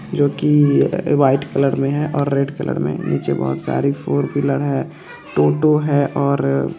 - -जो की white colour में है और रेड कलर में है निचे बहुत सारी फोरव्हीलर है हैं और अ --